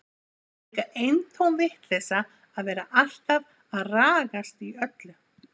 Það var líka eintóm vitleysa að vera alltaf að ragast í öllu.